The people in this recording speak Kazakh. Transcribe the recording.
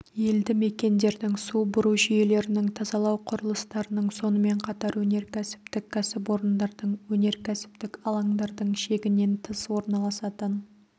елді мекендердің су бұру жүйелерінің тазалау құрылыстарының сонымен қатар өнеркәсіптік кәсіпорындардың өнеркәсіптік алаңдардың шегінен тыс орналасатын